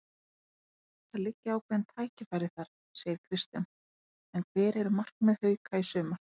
Það liggja ákveðin tækifæri þar, segir Kristján en hver eru markmið Hauka í sumar?